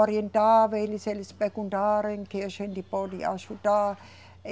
Orientava eles, eles perguntaram em que a gente pode ajudar.